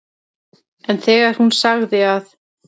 En þegar hún sagði að